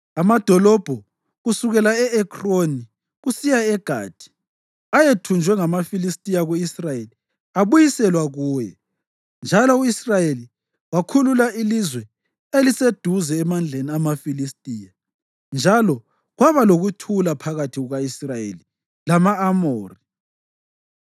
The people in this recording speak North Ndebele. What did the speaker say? Amadolobho kusukela e-Ekroni kusiya eGathi ayethunjwe ngamaFilistiya ku-Israyeli abuyiselwa kuye, njalo u-Israyeli wakhulula ilizwe eliseduze emandleni amaFilistiya. Njalo kwaba lokuthula phakathi kuka-Israyeli lama-Amori.